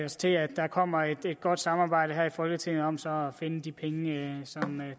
os til at der kommer et godt samarbejde her i folketinget om så at finde de penge som